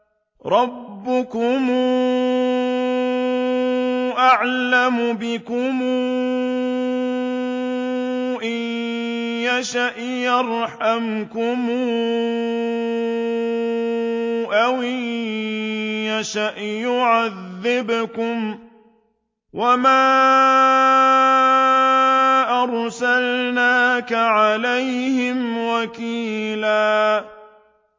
رَّبُّكُمْ أَعْلَمُ بِكُمْ ۖ إِن يَشَأْ يَرْحَمْكُمْ أَوْ إِن يَشَأْ يُعَذِّبْكُمْ ۚ وَمَا أَرْسَلْنَاكَ عَلَيْهِمْ وَكِيلًا